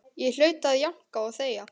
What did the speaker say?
Ég hlaut að jánka og þegja.